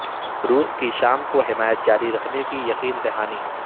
روس کی شام کو حمایت جاری رکھنے کی یقین دہانی